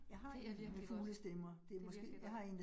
Det er virkelig godt, det virkelig godt